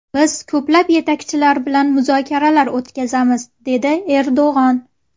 Biz ko‘plab yetakchilar bilan muzokaralar o‘tkazamiz”, dedi Erdo‘g‘on.